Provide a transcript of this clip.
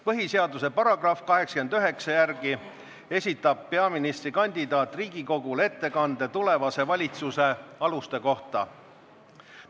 Põhiseaduse § 89 järgi esitab peaministrikandidaat Riigikogule ettekande tulevase valitsuse aluste kohta.